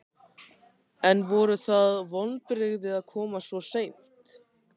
En voru það vonbrigði að koma svo seint?